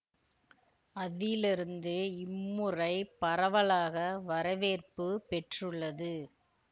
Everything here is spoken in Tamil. அதிலிருந்தே இம்முறை பரவலாக வரவேற்பு பெற்றுள்ளது